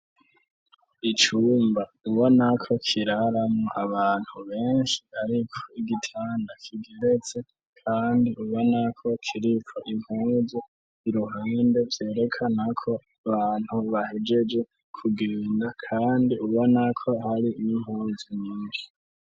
Icumba ubona ko kiraramo abantu benshi ariko igitanda kigeretse kandi ubona ko kiripfo impunzi iruhande byerekana ko bantu bahegeje kugenda kandi ubona ko hari m'inpunzi nyinshi.